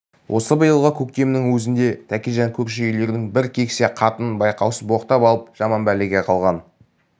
осы биылғы көктемнің өзінде тәкежан көрші үйлердің бір кексе қатынын байқаусыз боқтап алып жаман бәлеге қалған